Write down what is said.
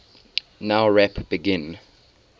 nowrap begin